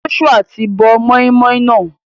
Joshua ti bọ moin-moin náà.